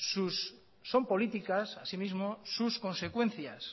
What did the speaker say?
son políticas así mismo sus consecuencias